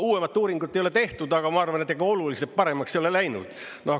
Uuemat uuringut ei ole tehtud, aga ma arvan, et ega oluliselt paremaks ei ole läinud.